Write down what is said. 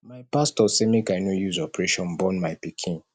my pastor say make i no use operation born my pikin